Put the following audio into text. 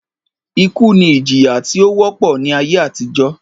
Ìkú ni ìjíyá tí ó wọ́pọ̀ ni ayé àtíjó.